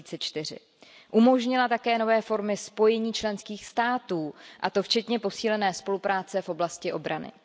2004. Umožnila také nové formy spojení členských států, a to včetně posílené spolupráce v oblasti obrany.